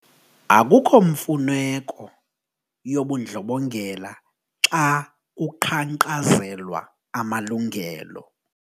Akukho mfuneko yobundlobongela xa kuqhankqalazelwa amalungelo.